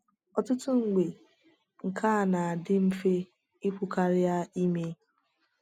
Ọtụtụ mgbe, nke a na-adị mfe ikwu karịa ime.